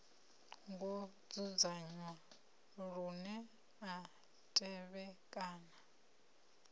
ngo dzudzanywa lune a tevhekana